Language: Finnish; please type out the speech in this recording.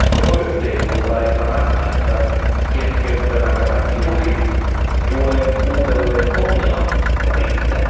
Koko yhteiskuntaa ei saa rangaista keskeyttämällä kaikki tuki, tuen uudelleenohjaus riittää.